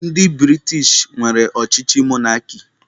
Ndị British nwere ọchịchị mọnarki.